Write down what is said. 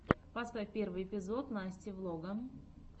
поставь первый эпизод насти влога